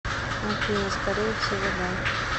афина скорее всего да